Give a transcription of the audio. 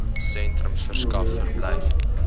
sentrums verskaf verblyf